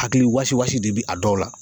Hakili wasi wasi de bɛ a dɔw la